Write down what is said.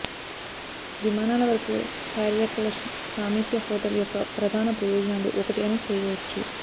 విమానాలు వరకు హర్యాక్ల్షన్ సామీప్య హోటల్ యొక్క ప్రధాన ప్రయోజనాలు ఒకటి అని చేయవచ్చు